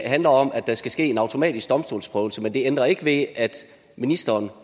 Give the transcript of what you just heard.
handler om at der skal ske en automatisk domstolsprøvelse men det ændrer ikke ved at ministeren